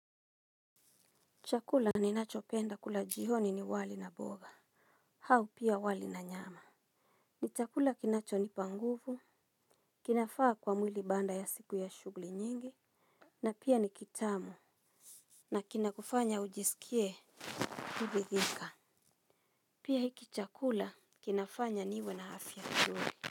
Chakula ni nacho penda kula jihoni ni wali na boga. Hau pia wali na nyama. Ni chakula kinacho ni panguvu. Kinafaa kwa mwili baanda ya siku ya shugli nyingi. Na pia ni kitamu. Na kina kufanya ujisikie hivi dhika. Pia hiki chakula kinafanya niwe na afya chuli.